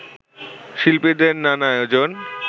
শিল্পীদের নানা আয়োজন